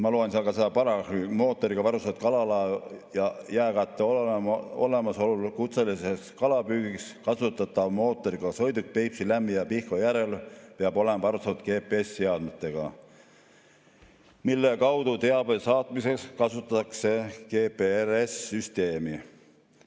Ma loen seda paragrahvi: "Mootoriga varustatud kalalaev ja jääkatte olemasolul kutseliseks kalapüügiks kasutatav mootoriga sõiduk Peipsi, Lämmi‑ ja Pihkva järvel peab olema varustatud GPS-seadmetega , mille kaudu teabe saatmiseks kasutatakse GPRS-süsteemi .